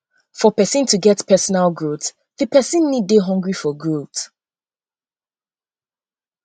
for person to get personal growth di person need to dey hungry for growth